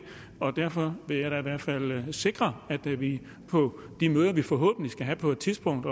og derfor vil jeg i hvert fald sikre at vi på de møder vi forhåbentlig skal have på et tidspunkt